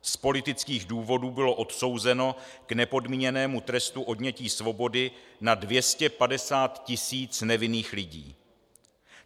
Z politických důvodů bylo odsouzeno k nepodmíněnému trestu odnětí svobody na 250 tisíc nevinných lidí.